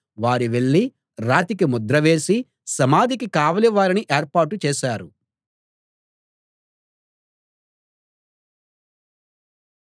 వారు వెళ్ళి రాతికి ముద్ర వేసి సమాధికి కావలి వారిని ఏర్పాటు చేశారు